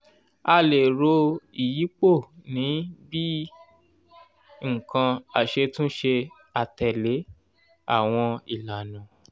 a lè ro ìyípo ní bíi nǹkan aṣetúnṣe àtèlè awon ìlànà